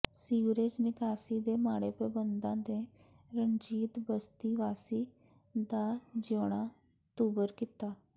sewerage ਨਿਕਾਸੀ ਦੇ ਮਾਡ਼ੇ ਪ੍ਰਬੰਧਾਂ ਨੇ ਰਣਜੀਤ ਬਸਤੀ ਵਾਸੀਆਂ ਦਾ ਜਿਊਣਾ ਦੁੱਭਰ ਕੀਤਾ